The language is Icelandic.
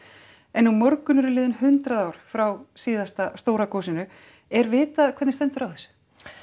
en á morgun eru liðin hundrað ár frá síðasta stóra gosinu er vitað hvernig stendur á þessu